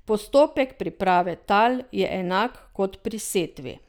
Postopek priprave tal je enak kot pri setvi.